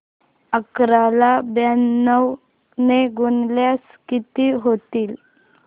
अकरा ला ब्याण्णव ने गुणल्यास किती होतील